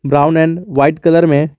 brown and white colour में--